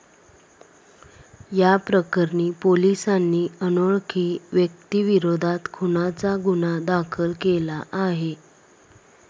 याप्रकरणी पोलिसांनी अनोळखी व्यक्तीविरोधात खूनाचा गुन्हा दाखल केला आहे.